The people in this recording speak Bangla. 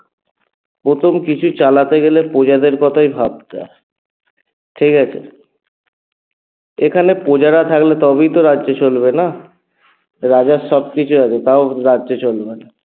প্রথম কিছু চালাতে গেলে প্রজাদের কথাই ভাবতে হয় ঠিকাছে? এখানে প্রজারা থাকলে তবেই তো রাজ্য চলবে না? রাজার সবকিছু আছে তাও রাজ্য চলবে না